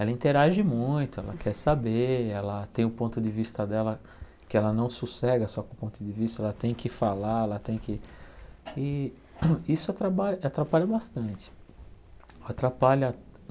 Ela interage muito, ela quer saber, ela tem um ponto de vista dela que ela não sossega só com o ponto de vista, ela tem que falar, ela tem que... E isso atraba atrapalha bastante. Atrapalha